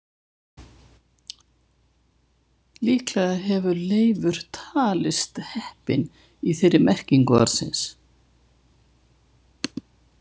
Líklega hefur Leifur talist heppinn í þeirri merkingu orðsins.